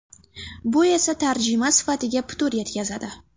Bu esa tarjima sifatiga putur yetkazadi.